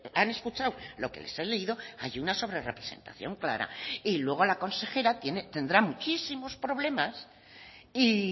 han escuchado lo que les he leído hay una sobrerrepresentación clara y luego la consejera tendrá muchísimos problemas y